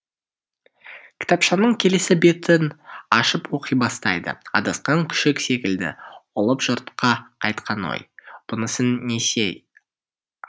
кітапшаның келесі бетін ашып оқи бастайды адасқан күшік секілді ұлып жұртқа қайтқан ой бұнысы несі ай